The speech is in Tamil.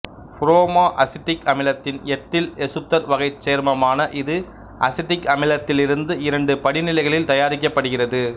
புரோமோ அசிட்டிக் அமிலத்தின் எத்தில் எசுத்தர் வகைச் சேர்மமான இது அசிட்டிக் அமிலத்திலிருந்து இரண்டு படிநிலைகளில் தயாரிக்கப்படுகிறது